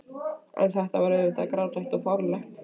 En þetta var auðvitað grátlegt og fáránlegt.